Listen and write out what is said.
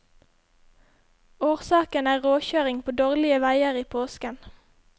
Årsaken er råkjøring på dårlige veier i påsken.